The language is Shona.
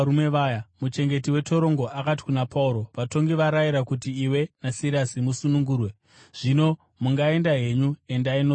Muchengeti wetorongo akati kuna Pauro, “Vatongi varayira kuti iwe naSirasi musunungurwe. Zvino mungaenda henyu. Endai norugare.”